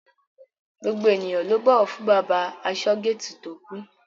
Gbogbo ènìyàn ló bọ̀wọ̀ fún bàbá asọ́-géètì tó kú.